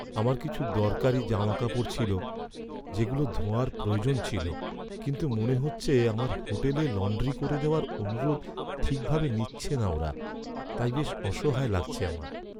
আমার কিছু দরকারি জামাকাপড় ছিল যেগুলো ধোয়ার প্রয়োজন ছিল, কিন্তু মনে হচ্ছে আমার হোটেলে লন্ড্রি করে দেওয়ার অনুরোধ ঠিকভাবে নিচ্ছে না ওরা, তাই বেশ অসহায় লাগছে আমার।